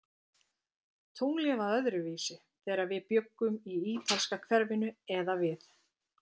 Tunglið var öðruvísi, þegar við bjuggum í ítalska hverfinu eða við